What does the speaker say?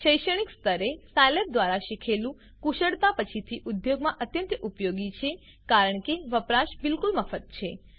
શૈક્ષણિક સ્તરે સાયલેબ દ્વારા શીખેલ કુશળતા પછીથી ઉદ્યોગમાં અત્યંત ઉપયોગી છે કારણ કે વપરાશ બિલકુલ મફત છે